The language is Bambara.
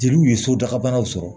Jeliw ye sotagabanaw sɔrɔ